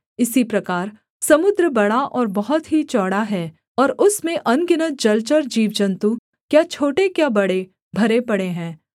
इसी प्रकार समुद्र बड़ा और बहुत ही चौड़ा है और उसमें अनगिनत जलचर जीवजन्तु क्या छोटे क्या बड़े भरे पड़े हैं